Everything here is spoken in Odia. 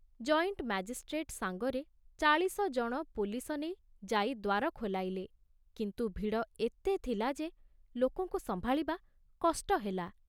ଜଏଣ୍ଟ୍ ମାଜିଷ୍ଟ୍ରେଟ୍ ସାଙ୍ଗରେ ଚାଳିଶ ଜଣ ପୋଲିସ ନେଇ ଯାଇ ଦ୍ଵାର ଖୋଲାଇଲେ, କିନ୍ତୁ ଭିଡ଼ ଏତେ ଥିଲା ଯେ ଲୋକଙ୍କୁ ସମ୍ଭାଳିବା କଷ୍ଟ ହେଲା।